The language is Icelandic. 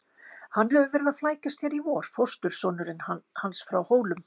Hann hefur verið að flækjast hér í vor, fóstursonurinn hans frá Hólum.